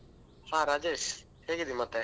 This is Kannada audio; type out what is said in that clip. ಹಾ ರಾಜೇಶ್ ಹೇಗಿದ್ದಿ ಮತ್ತೆ?